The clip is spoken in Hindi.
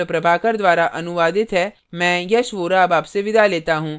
यह स्क्रिप्ट प्रभाकर द्वारा अनुवादित है मैं यश वोरा अब आपसे विदा लेता हूँ